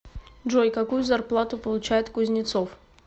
джой какую зарплату получает кузнецов